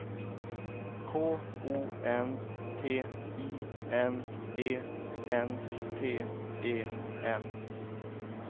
K O N T I N E N T E N